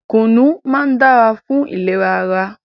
Kùnú máá ń dára fún ìlera ara.